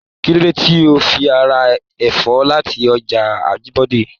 Kilode tí o fi ra ẹfọ láti ọjà Ajibọde?